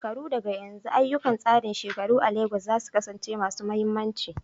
Shekaru daga yanzu, ayyukan tsarin shekaru a Legas za su kasance masu mahimmanci.